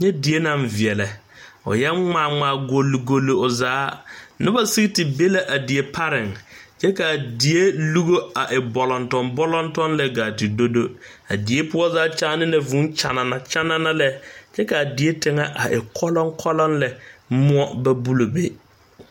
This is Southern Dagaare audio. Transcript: Nyɛdie naŋ veɛlɛ o eɛɛ ŋmaa ŋmaa golgol o zaa noba sege te be la a die pariŋ kyɛ kaa die lugo a e bɔlɔmtɔm bɔlɔmtɔm lɛ gaa te dodo a die poɔ zaa kyaane la vuu kyanana kyanana lɛ kyɛ kaa die poɔ tiŋɛ a e kɔlɔŋkɔlɔŋ lɛ moɔ ba bul be.